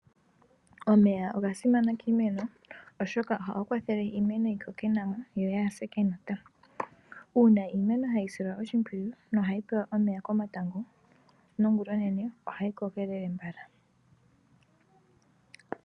Omeya oga simana kiimeno, oshoka ohaga kwathele opo iimeno yi koke nawa. Uuna iimeno hayi silwa oshimpwiyu nohayi pewa omeya ongulonene nokomatago ohayi koko tayi endelele.